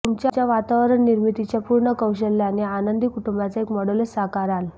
तुमच्या वातावरण निर्मितीच्या पूर्ण कौशल्याने आनंदी कुटुंबाचे एक मॉडेलच साकाराल